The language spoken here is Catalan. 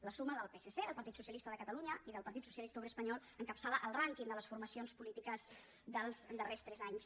la suma del psc del partit socialista de catalunya i del partit socialista obrer espanyol encapçala el rànquing de les formacions polítiques dels darrers tres anys